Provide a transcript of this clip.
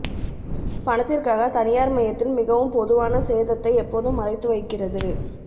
பணத்திற்காக தனியார்மயத்தில் மிகவும் பொதுவான சேதத்தை எப்போதும் மறைத்து வைக்கிறது